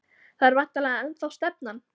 Það er væntanlega ennþá stefnan?